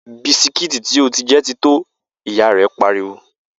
Bisikíìtì tí ó ti jẹ ti tó!', ìyá rẹ̀ pariwo